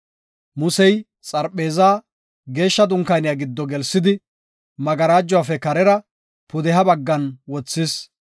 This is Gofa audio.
Musey, xarpheezaa Geeshsha Dunkaaniya giddo gelsidi, magarajuwafe karera, pudeha baggan wothis.